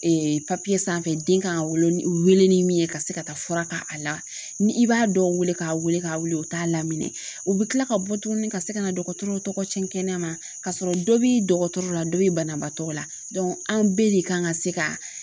sanfɛ den kan ka wolo , wele ni min ye ka se ka taa fura k'a la ni i b'a dɔw wele ka wele ka wele u t'a lamini. U bi kila ka bɔ tuguni ka se ka na dɔgɔtɔrɔw tɔgɔ cɛn kɛnɛma, ka sɔrɔ dɔ bi dɔgɔtɔrɔ la dɔ bi banabaatɔ la an bɛɛ de kan ka se ka